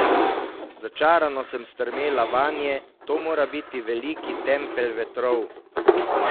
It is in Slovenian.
Začarano sem strmela vanje, to mora biti veliki Tempelj vetrov.